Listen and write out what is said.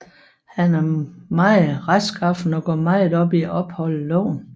Han er meget retskaffen og går meget op i at opholde loven